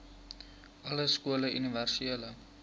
alle skole universele